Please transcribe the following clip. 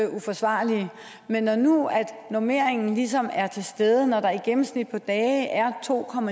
uforsvarlige men når nu normeringen ligesom er til stede når der i gennemsnit på dage er to